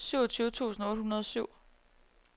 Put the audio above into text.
syvogtyve tusind otte hundrede og syv